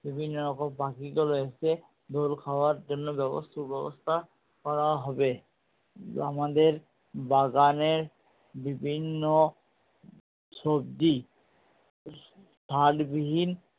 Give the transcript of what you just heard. বিভিন্ন রকম পাখি গুলো এসে দোল খাওয়ার জন্য ব্যবস্থা সুব্যবস্থা করা হবে। আমাদের বাগানের বিভিন্ন সবজি সার বিহীন